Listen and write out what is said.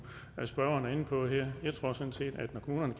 spørgeren er inde på her jeg tror sådan set at når kommunerne